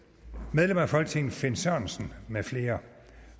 medlem af folketinget finn sørensen med flere